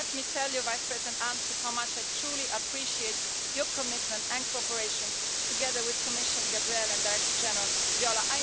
Let me tell you, Vice President Ansip, how much I truly appreciate your commitment and cooperation, together with Commissioner Gabriel and Director General Viola.